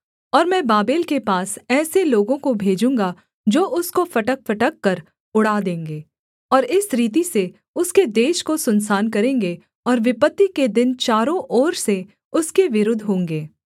और मैं बाबेल के पास ऐसे लोगों को भेजूँगा जो उसको फटकफटककर उड़ा देंगे और इस रीति से उसके देश को सुनसान करेंगे और विपत्ति के दिन चारों ओर से उसके विरुद्ध होंगे